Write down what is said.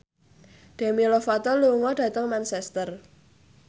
Demi Lovato lunga dhateng Manchester